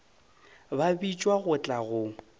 ka bitšwa go tla go